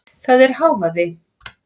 Þetta er hávaði.